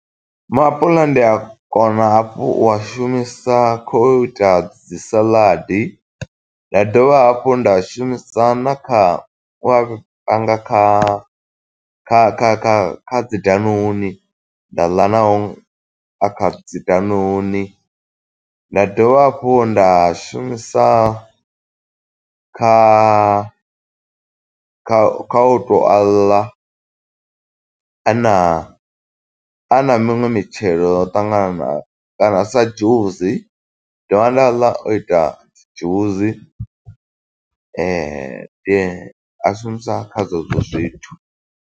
Maapuḽa ndi a kona hafhu u a shumisa kho u ita dzi saladi. Nda dovha hafhu nda shumisa na kha wa panga kha kha kha kha kha dzi danuni, nda ḽa na o a kha dzi danuni. Nda dovha hafhu nda shumisa kha kha kha u tou a ḽa, a na a na miṅwe mitshelo yo ṱangananaho. Kana sa dzhusi, dovha nda a ḽa o ita dzi dzhusi, a shumisa kha zwezwo zwithu.